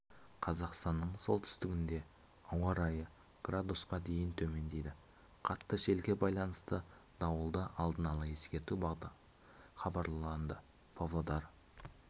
қазақстанның солтүстігінде ауа райы градусқа дейін төмендейді қатты желге байланысты дауылды алдын ала ескерту хабарланды павлодар